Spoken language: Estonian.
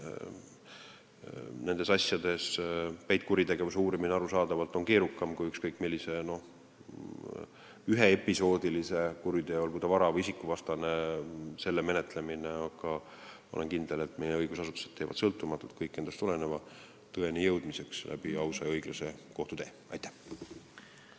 Nendes asjades on peitkuritegevuse uurimine arusaadavalt keerukam kui ükskõik millise üheepisoodilise kuriteo, olgu ta vara- või isikuvastane, menetlemine, aga ma olen kindel, et meie õigusasutused teevad sõltumatult kõik endast oleneva ausa ja õiglase kohtutee abil tõeni jõudmiseks.